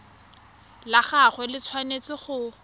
la gagwe le tshwanetse go